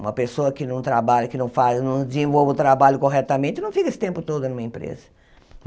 Uma pessoa que não trabalha, que não faz não desenvolve o trabalho corretamente não fica esse tempo todo numa empresa.